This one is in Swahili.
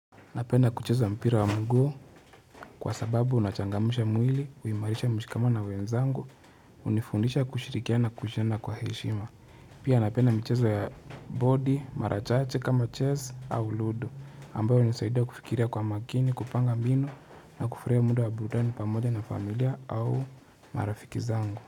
Napenda kucheza mpira wa miguu kwa sababu unachangamsha mwili, huimarisha mshikamo na wenzangu, hunifundisha kushirikiana kujena kwa heshima. Pia napenda michezo ya bodi, mara chache kama chess au ludo, ambayo hunisaidia kufikiria kwa makini, kupanga mbinu na kufurahi mdo wa burudani pamoja na familia au marafiki zangu.